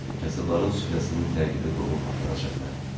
Kasıbların süfrəsinin təqibi qovub aparacaq məni.